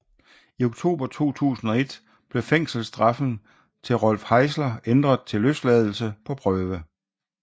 I oktober 2001 blev fængselsstraffen til Rolf Heißler ændret til løsladelse på prøve